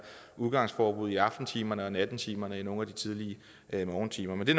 udgangsforbud i aftentimerne og nattetimerne og nogle af de tidlige morgentimer men det